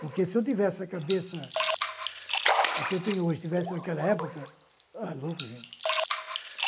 Porque se eu tivesse a cabeça que tenho hoje, tivesse naquela época... Ah, louco, gente!